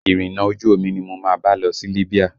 Irinna ojú omi ni mo máa bá lọ sí Libya